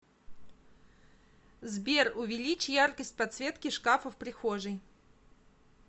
сбер увеличь яркость подсветки шкафа в прихожей